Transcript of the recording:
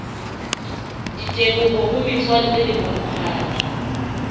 diteboho ho metswalle le bomphato